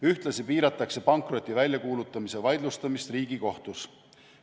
Ühtlasi piiratakse pankroti väljakuulutamise vaidlustamist Riigikohtus.